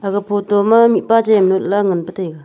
aga photo ma mipa jem notla ngan pa taiga.